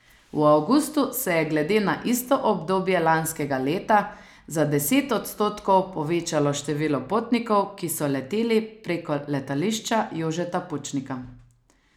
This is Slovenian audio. V avgustu se je glede na isto obdobje lanskega leta za deset odstotkov povečalo število potnikov, ki so leteli preko Letališča Jožeta Pučnika.